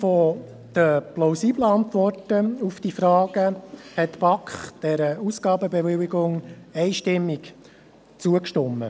Aufgrund der plausiblen Antworten auf diese Fragen stimmte die BaK dieser Ausgabenbewilligung einstimmig zu.